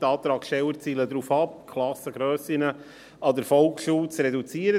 Die Antragsteller zielen darauf ab, die Klassengrössen an der Volksschule zu reduzieren.